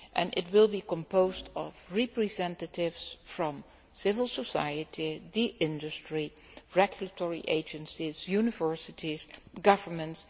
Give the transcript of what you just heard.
It will be composed of representatives from civil society, industry, regulatory agencies, universities, governments.